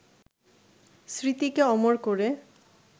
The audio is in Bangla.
স্মৃতিকে অমর করে